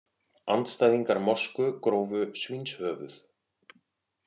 Andstæðingar mosku grófu svínshöfuð